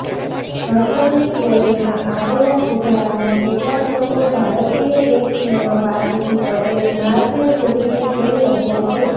હસનની બોલિંગમાં આવેલા સુધારાને કેટલાક લોકો ભારતીય બેટ્સમેનો પાસેથી પડેલી મારને જોડીને જોઈ રહ્યાં છે